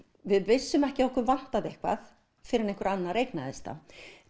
við vissum ekki að okkur vantaði eitthvað fyrr en einhver annar eignaðist það